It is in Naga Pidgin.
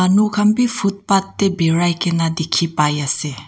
nu khan beh footpath tey parai kena dekhe pai ase.